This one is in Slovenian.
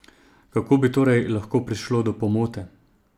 Kako bi torej lahko prišlo do pomote?